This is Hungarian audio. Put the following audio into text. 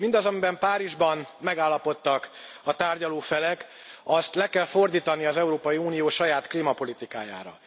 Mindazt, amiben Párizsban megállapodtak a tárgyaló felek, azt le kell fordítani az Európai Unió saját klímapolitikájára.